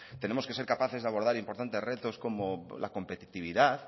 tenemos que ser capaces de abordar importantes retos como la competitividad